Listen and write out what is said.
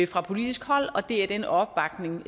fra politisk hold og det er den opbakning